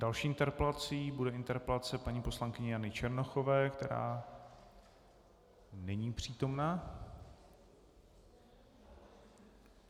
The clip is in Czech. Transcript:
Další interpelací bude interpelace paní poslankyně Jany Černochové, která není přítomna.